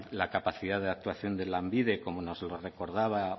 la capacidad de actuación de lanbide como nos lo recordaba